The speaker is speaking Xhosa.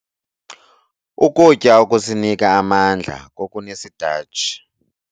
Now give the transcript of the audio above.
Ukutya okusinika amandla kokunesitatshi.